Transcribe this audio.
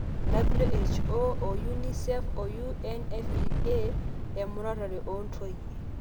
WHO, UNICEF o UNFPA, emuratare oontoyie